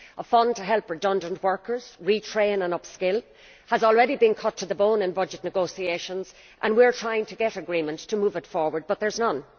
A fund to help redundant workers retrain and upskill has already been cut to the bone in budget negotiations and we are trying to get agreement to move it forward, but there is none.